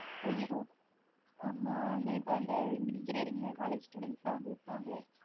ஐயொ ஆமா அது இப்ப அந்த engineering college students வந்து விப்பாங்கலே